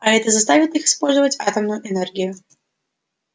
а это заставит их использовать атомную энергию